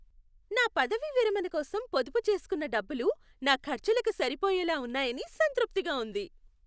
నా పదవీ విరమణ కోసం పొదుపు చేస్కున్న డబ్బులు నా ఖర్చులకు సరిపోయేలా ఉన్నాయని సంతృప్తిగా ఉంది.